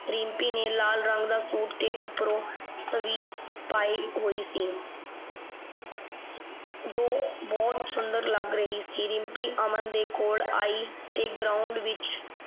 ਰਿੰਪੀ ਨੇ ਲਾਲ ਰੰਗ ਦਾ ਸੂਟ ਤੇ ਉਪਰੋਂ ਸਵੀ ਪਾਈ ਹੋਈ ਸੀ ਜੋ ਬਹੁਤ ਸੁੰਦਰ ਲੱਗ ਰਹੀ ਸੀ। ਰਿੰਪੀ ਅਮਨ ਦੇ ਕੋਲ ਆਈ ਤੇ ਗਰਾਊਂਡ ਵਿਚ